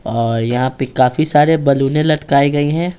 और यहाँ पे काफी सारे बालूने लटकाई गई हैं।